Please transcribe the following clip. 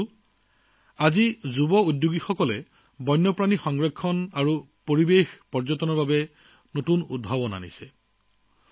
বন্ধুসকল আজি যুৱ উদ্যোগীসকলে বন্যপ্ৰাণী সংৰক্ষণ আৰু পৰিৱেশ পৰ্যটনৰ বাবে নতুন নতুন উদ্ভাৱন কঢ়িয়াই আনিছে